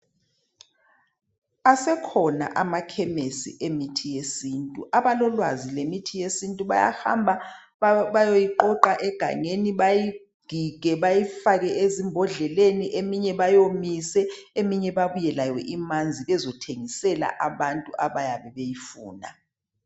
Asekhona amakhemisi emithi yesintu, abalolwazi ngemithi yesintu bayahamba bayeyiqoqa egangeni bayigige bayifake ezimbodleleni eminye bayomise eminye babuye lawo imanzi bezothengisela abantu abayabe beyifuna.